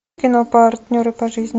кино партнеры по жизни